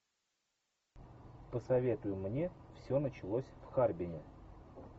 посоветуй мне все началось в харбине